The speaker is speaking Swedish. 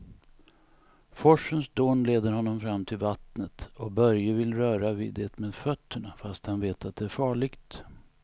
Forsens dån leder honom fram till vattnet och Börje vill röra vid det med fötterna, fast han vet att det är farligt.